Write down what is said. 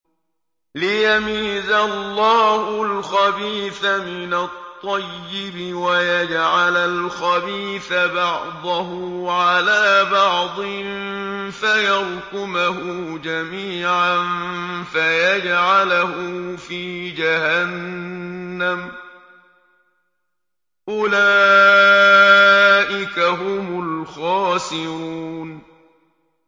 لِيَمِيزَ اللَّهُ الْخَبِيثَ مِنَ الطَّيِّبِ وَيَجْعَلَ الْخَبِيثَ بَعْضَهُ عَلَىٰ بَعْضٍ فَيَرْكُمَهُ جَمِيعًا فَيَجْعَلَهُ فِي جَهَنَّمَ ۚ أُولَٰئِكَ هُمُ الْخَاسِرُونَ